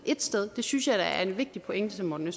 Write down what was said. et sted det synes jeg da er en vigtig pointe som morten